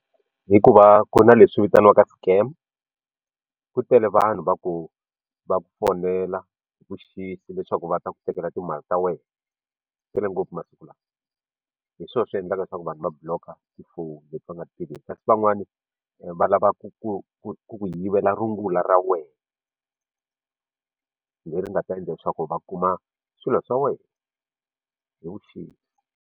Hikuva ku ri na leswi vitaniwaka scam ku tele vanhu va ku va ku fonela hi vuxisi leswaku va ta ku tekela timali ta wena swi tele ngopfu masiku lawa hi swona swi endlaka leswaku vanhu va block ti-phone leti va nga ti tiveki kasi van'wani va lava ku ku ku ku ku yivela rungula ra wena leri nga ta endla leswaku va kuma swilo swa wena hi vuxisi.